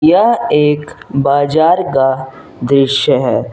यह एक बाजार का दृश्य है।